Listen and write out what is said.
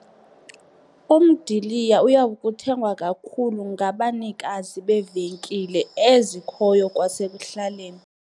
Umdiliya uyakuthengwa kakhulu ngabanikazi beevenkile ezikhoyo kwasekuhlaleni.